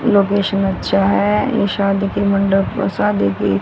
location अच्छा है ये शादी की मंडप शादी की--